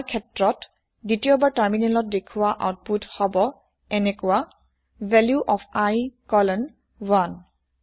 আমাৰ ককেছত দ্বিতীয়বাৰ তাৰমিনেলত দেখোৱা আওতপোত হব এনেকোৱা ভেলিউ অফ i কলন 1